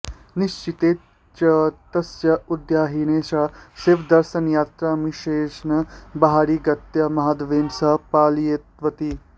निश्चिते च तस्या उद्वाहदिने सा शिवदर्शनयात्रामिषेण बहिरागत्य माधवेन सह पलायितवती